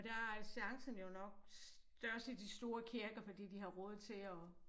Og der er chancen jo nok størst i de store kirker fordi de har råd til at